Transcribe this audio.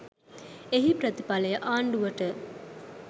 එහි ප්‍රතිඵලය ආණ්ඩුවට